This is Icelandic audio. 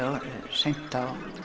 seint